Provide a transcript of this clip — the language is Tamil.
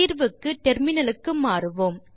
தீர்வுக்கு டெர்மினலுக்கு மாறுவோம்